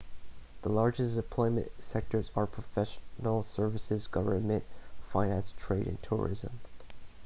the largest employment sectors are professional services government finance trade and tourism